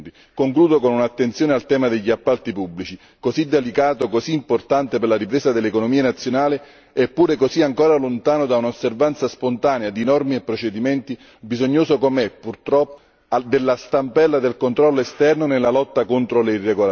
Concludo con un'attenzione al tema degli appalti pubblici, così delicato e così importante per la ripresa dell'economia nazionale eppure ancora così lontano da un'osservanza spontanea di norme e procedimenti, bisognoso com'è, purtroppo, della stampella del controllo esterno nella lotta contro le irregolarità.